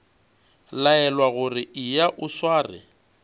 laelwa gore eya o sware